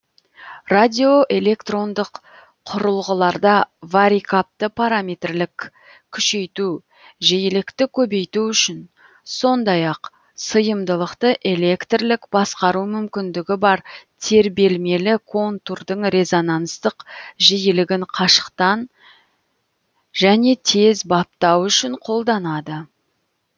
радиоэлектрондық құрылғыларда варикапты параметрлік күшейту жиілікті көбейту үшін сондай ақ сыйымдылықты электрлік басқару мүмкіндігі бар тербелмелі контурдың резонансттық жиілігін қашықтан жөне тез баптау үшін қолданады